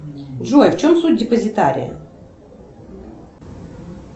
джой в чем суть депозитария